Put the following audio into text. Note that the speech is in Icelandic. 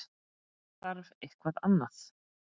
Þarf eitthvað annað?